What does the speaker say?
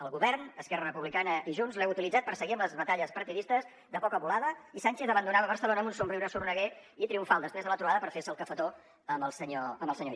el govern esquerra republicana i junts l’heu utilitzat per seguir amb les batalles partidistes de poca volada i sánchez abandonava barcelona amb un somriure sorneguer i triomfal després de la trobada per fer se el cafetó amb el senyor illa